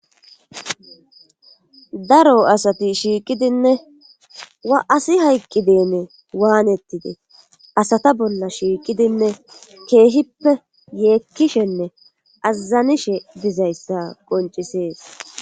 daro asati shiiqidinne wa'asi hayqqidenne waanettidee asata bolla shiiqidinne keehippe yeekkishenne azazanishe dizayssa qoncisees